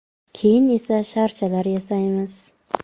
Keyin esa sharchalar yasaymiz.